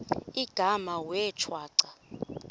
igama wee shwaca